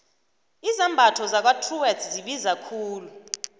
izambatho zakwatruworths zibiza khulu